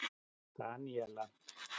Daníela